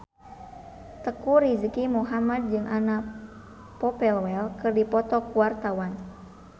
Teuku Rizky Muhammad jeung Anna Popplewell keur dipoto ku wartawan